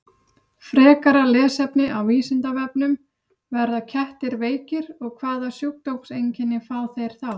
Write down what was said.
Frekara lesefni á Vísindavefnum: Verða kettir veikir og hvaða sjúkdómseinkenni fá þeir þá?